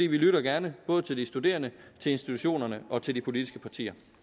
vi lytter gerne både til de studerende til institutionerne og til de politiske partier